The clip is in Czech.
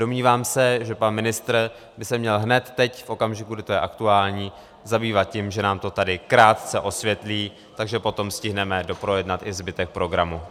Domnívám se, že pan ministr by se měl hned teď, v okamžiku, kdy to je aktuální, zabývat tím, že nám to tady krátce osvětlí, takže potom stihneme doprojednat i zbytek programu.